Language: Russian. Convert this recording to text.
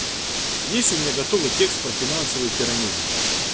есть у меня готовый текст про финансовые пирамиды